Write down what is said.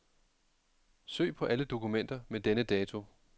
Søg på alle dokumenter med denne dato.